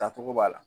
Dacogo b'a la